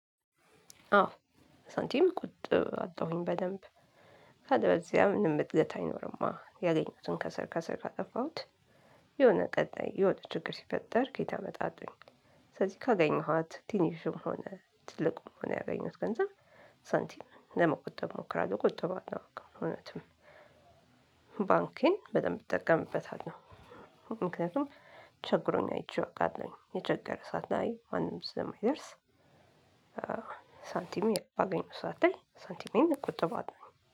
አዎ ሳንቲም ቆጥባለሁኝ በደንብ። ካልበዚያም ምንም ጥገት አይኖርማ ያገኙትን ከስር ከስር ካጠፋሁት የሆነ ቀጣይ የሆነ ችግር ሲፈጠር ከየት አመጣለሁኝ? ስለዚህ ካገኘኋት ትንሽ መሆን ትልቅም ሆን ያገኘኋት ገንዘብ ሳንቲም ለመቆጠብ ሞክራለሁ ቆጥባለዉእውነትም። ባንኬን በደንብ እጠቀምበታለው። ምክንያቱም ቸግሮኝ አይቼው እወቃለሁኝ የቸገረ ሰዓት ላይ ማንም ስለማይደርስ። ሳንቲም አገኘሁ ሰዓት ላይ ሳንቲሜን እንቁጠባለሁኝ